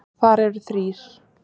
Þar eru þrír